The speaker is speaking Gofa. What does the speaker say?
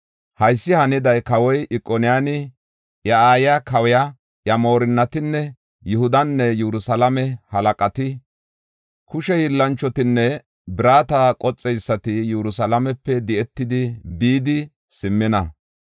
Haysi haniday, kawoy Ikoniyaani, iya aayiya kawiya, iya moorinnati, Yihudanne Yerusalaame halaqati, kushe hiillanchotinne birata qoxeysati Yerusalaamepe di7etidi bidi simmina.